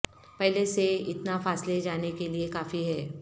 پہلے سے اتنا فاصلے جانے کے لئے کافی ہے